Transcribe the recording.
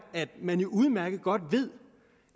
at man jo udmærket godt ved